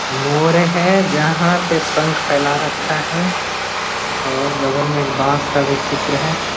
मोर है जहाँ पे पंख फैला रखा है और बगल में एक बांस का भी चित्र है।